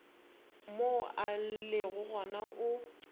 mo a lego gona o